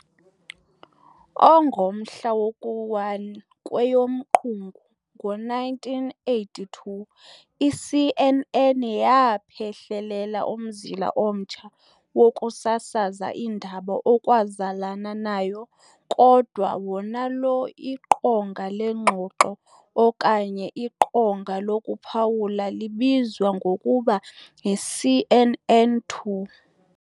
ONgomhla woku-1 kweyomQungu ngo-1982 i-CNN yaaphehlelela umzila omtsha wokusasaza iindaba okwazalana nayo kodwa wonalo iqonga leengxoxo okanye iqonga lokuphawula libizwa ngokuba yi-CNN2.